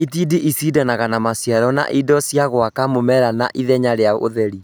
itindiĩ icindanaga na maciaro na indo cia gwaka mũmera na ithenya rĩa ũtheri